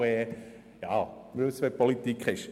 wir wissen ja, wie es in der Politik läuft.